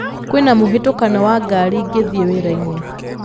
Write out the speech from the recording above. kwĩna mũhatĩkano wa ngari ngithiĩ wira-inĩ